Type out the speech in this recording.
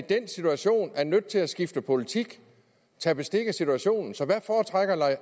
den situation nødt til at skifte politik tage bestik af situationen så hvad foretrækker